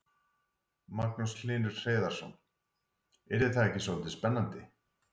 Magnús Hlynur Hreiðarsson: Yrði það ekki svolítið spennandi?